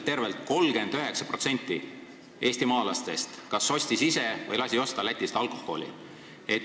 Tervelt 39% eestimaalastest kas ostis ise või lasi osta alkoholi Lätist.